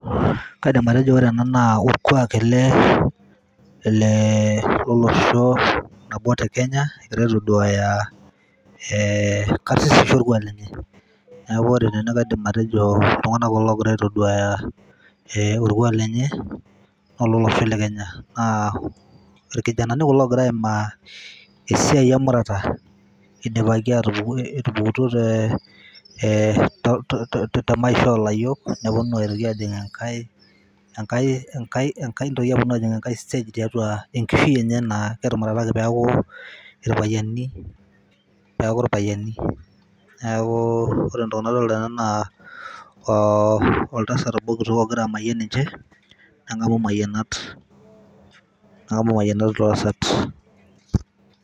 Kaidim atejo ero ena na orkuak ele le lolosho obo tekenya egira aitaduaya e karsisisho enye neaku kaidim atejo ltunganak kulo ogira aitaduaya e orkuak lenye lolosho le kenya. Na irkijanani kulo ogira aimaa esiai emurata idipa etupukutuo te e to to maisha olayiok neponu aitoki ajing enkae nkae stage tiatua enkishui enye etumurataki peaku irpayiani neaku irpayiani, neaku ore entoki nadolta tena aa na oltasat obo kitok ogira amayian ninche nengamu mayianat mayianat oltasat.